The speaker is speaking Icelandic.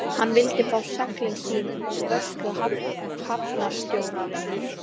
Hann vildi fá seglin sín úr vörslu hafnarstjórnarinnar.